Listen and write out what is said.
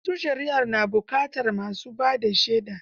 Wata shari'ar na buƙatar ma su ba da shaida.